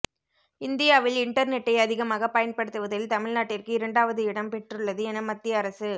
இந்தியாவில் இண்டர்நெட்டை அதிகமாக பயன்படுத்துவதில் தமிழ்நாட்டிற்கு இரண்டாவது இடம் பெற்றுள்ளது என மத்திய அரசு